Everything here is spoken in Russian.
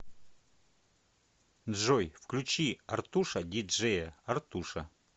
джой включи артуша ди джея артуша